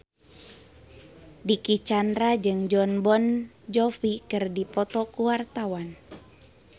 Dicky Chandra jeung Jon Bon Jovi keur dipoto ku wartawan